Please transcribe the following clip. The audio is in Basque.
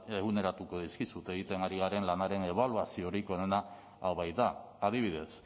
eguneratuko dizkizut egiten ari garen lanaren ebaluaziorik onena hau baita adibidez